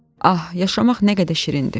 Ah, yaşamaq nə qədər şirindir!